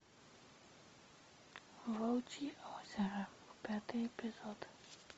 волчье озеро пятый эпизод